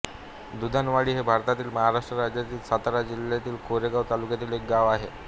दुधाणवाडी हे भारतातील महाराष्ट्र राज्यातील सातारा जिल्ह्यातील कोरेगाव तालुक्यातील एक गाव आहे